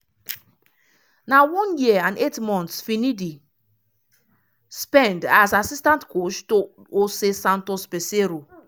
na one year and eight months finidi spend as assistant coach to josé santos peseiro.